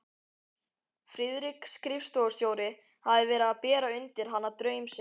Friðrik skrifstofustjóri hafði verið að bera undir hana draum sinn.